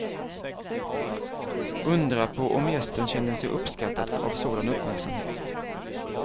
Undra på om gästen känner sig uppskattad av sådan uppmärksamhet.